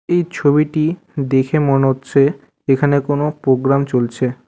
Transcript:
এই ছবিটি দেখে মনে হচ্ছে এখানে কোনো প্রোগ্রাম চলছে।